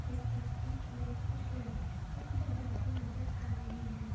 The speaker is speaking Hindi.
इस तस्वीर में कुछ लड़कियां निर्त्य करती नजर आ रही है।